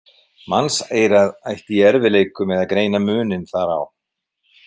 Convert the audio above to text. Mannseyrað ætti í erfiðleikum með að greina muninn þar á.